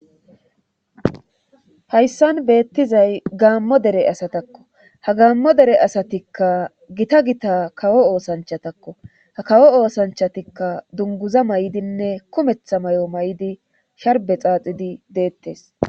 Hayssan beettizay gaammo dere asatakko ha gaammo dere asatikka gita gita kawo oosanchatakko ha kawo oosanchatikka dunguza may7idinne kumetha may7o may7di sharbe xaaxidi deettes